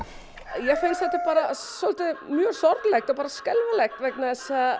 mér finnst þetta bara mjög sorglegt og skelfilegt vegna þess að